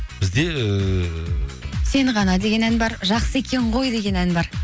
бізде ііі сені ғана деген ән бар жақсы екен ғой деген ән бар